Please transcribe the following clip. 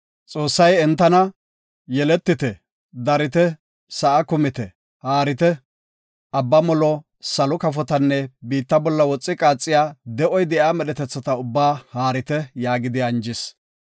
Xoossay entana, “Yeletite, darite, sa7a kumite; haarite. Abba molo, salo kafotanne biitta bolla woxi qaaxiya, de7oy de7iya medhetetha ubbaa haarite” yaagidi anjis.